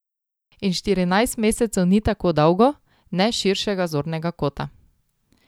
In štirinajst mesecev ni tako dolgo, ne s širšega zornega kota.